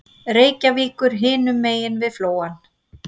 Reykjavíkur hinum megin við Flóann.